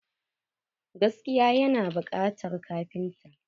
Gaskiya yana bukatan kafinta.